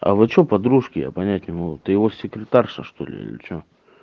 а вы что подружки я понять не могу ты его секретарша что-ли или что